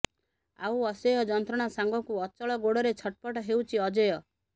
ଆଉ ଅସହ୍ୟ ଯନ୍ତ୍ରଣା ସାଙ୍ଗକୁ ଅଚଳ ଗୋଡରେ ଛଟପଟ ହେଉଛି ଅଜୟ